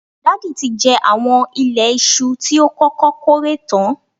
Dàda tí jẹ àwọn ìlé iṣu tí ó kọ́kọ́ kórè tán.